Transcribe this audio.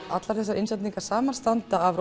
allar þessar innsetningar samanstanda af